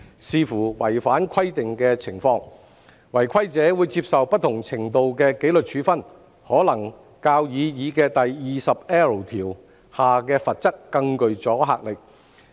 視乎違反規定的情況，違規者會接受不同程度的紀律處分，可能較擬議第 20L 條下的罰則更具阻嚇力。